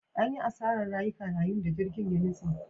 An yi asarar rayuka yayin da jirgin ya nutse.